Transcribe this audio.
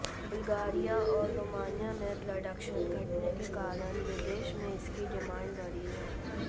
Bulgaria और Romania में production घटने के कारण विदेश में इसकी डिमांड बढ़ी है